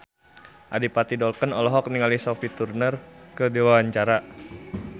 Adipati Dolken olohok ningali Sophie Turner keur diwawancara